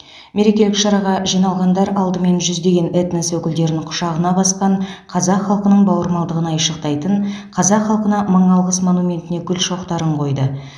мерекелік шараға жиналғандар алдымен жүздеген этнос өкілдерін құшағына басқан қазақ халқының бауырмалдығын айшықтайтын қазақ халқына мың алғыс монументіне гүл шоқтарын қойды